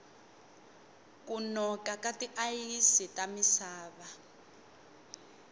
ku noka ka ti ayisi ta misava